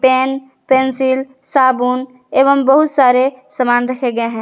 Pen pencil साबुन एवं बहुत सारे सामान रखे गए हैं।